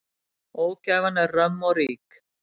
Ógæfan er römm og rík.